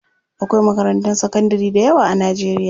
Akwai makarantun sakandari dayawa a Najeriya.